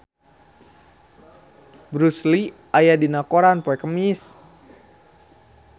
Bruce Lee aya dina koran poe Kemis